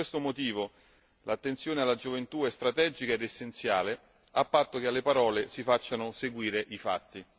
Per questo motivo l'attenzione alla gioventù è strategica ed essenziale, a patto che alle parole si facciano seguire i fatti.